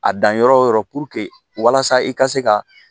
A dan yɔrɔ o yɔrɔ walasa i ka se ka.